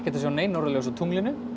að sjá nein norðurljós á tunglinu